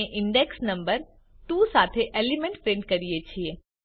આપણે index number 2 સાથે element print કરીએ છીએ